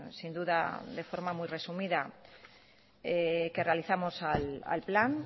sin duda de forma muy resumida que realizamos al plan